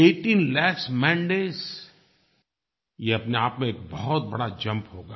18 lakh mandays ये अपने आप में एक बहुत बड़ा जंप होगा